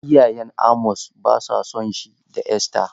Iyayen Amos ba sa son shi da Esther.